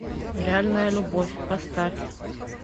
реальная любовь поставь